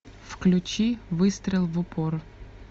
включи выстрел в упор